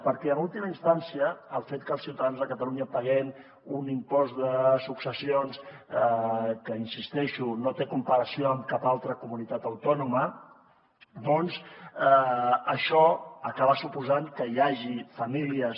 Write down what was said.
perquè en última instància el fet que els ciutadans de catalunya paguem un impost de successions que hi insisteixo no té comparació amb cap altra comunitat autònoma doncs això acaba suposant que hi hagi famílies